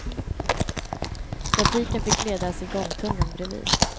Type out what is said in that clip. Trafiken fick ledas i gångtunneln bredvid.